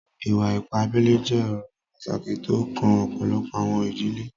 Ìwà-ìpà àbèlè jẹ̀ ọ̀rọ̀ pátákì tó o kàn ọpọlọ́pọ̀ àwọn ìdílé.